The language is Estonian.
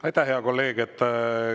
Aitäh, hea kolleeg!